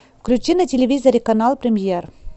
включи на телевизоре канал премьер